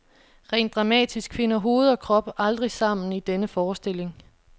Rent dramatisk finder hoved og krop aldrig sammen i denne forestilling.